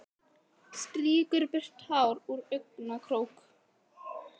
Strýkur burtu tár úr augnakrók.